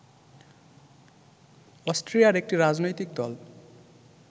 অস্ট্রিয়ার একটি রাজনৈতিক দল